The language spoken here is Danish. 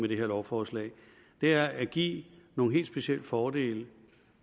lovforslag er at give nogle helt specielle fordele